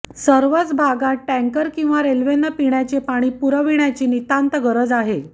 सर्वच भागांत टँकर किंवा रेल्वेने पिण्याचे पाणी पुरविण्याची नितांत गरज आहे